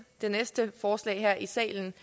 det næste forslag i salen